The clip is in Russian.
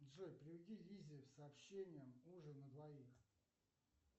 джой переведи лизе с сообщением ужин на двоих